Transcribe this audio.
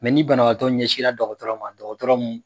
ni banabaatɔ ɲɛsinra dɔkɔtɔrɔ ma dɔkɔtɔrɔ mun